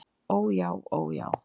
Ó já. ó já!